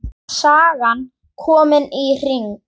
Sagan komin í hring.